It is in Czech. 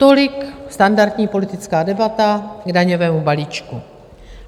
Tolik standardní politická debata k daňovému balíčku.